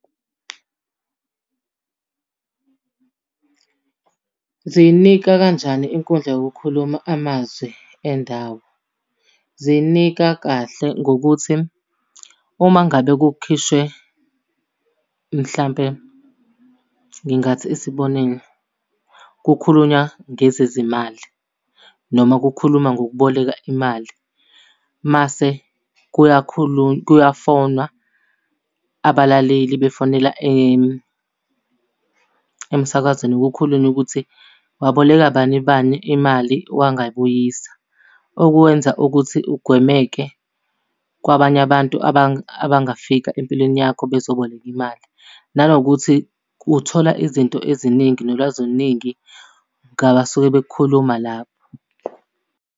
Ziyinika kanjani inkundla yokukhuluma amazwi endawo? Ziyinika kahle ngokuthi uma ngabe kukhishwe mhlampe, ngingathi isibonelo, kukhulunywa ngezezimali noma kukhuluma ngokuboleka imali. Mase kuyakhulunywa kuyafonwa abalaleli befonela emsakazweni kukhulunywe ukuthi, waboleka bani bani imali wangayibuyisa. Okwenza ukuthi ugwemeke kwabanye abantu abangafika empilweni yakho bezoboleka imali. Nanokuthi uthola izinto eziningi nolwazi oluningi ngabasuke bekukhuluma lapho.